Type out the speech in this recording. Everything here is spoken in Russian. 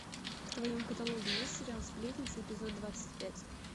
в твоем каталоге есть сериал сплетница эпизод двадцать пять